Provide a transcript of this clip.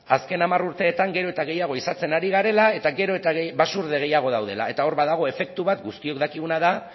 azken hamar urteetan gero eta gehiago ehizatzen ari garela eta gero eta basurde gehiago daudela eta hor badago efektu bat guztiok dakiguna da